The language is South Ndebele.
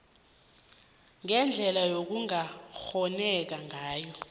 ngendlela okungakghoneka ngayo